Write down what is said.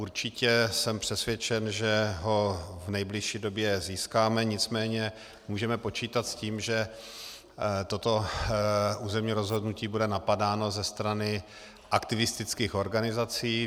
Určitě jsem přesvědčen, že ho v nejbližší době získáme, nicméně můžeme počítat s tím, že toto územní rozhodnutí bude napadáno ze strany aktivistických organizací.